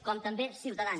com també ciutadans